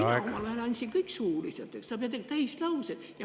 Mina omal ajal andsin kõik suuliselt täislausetega.